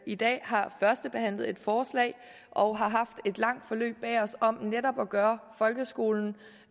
i dag har førstebehandlet et forslag og har haft et langt forløb bag os om netop at gøre folkeskolen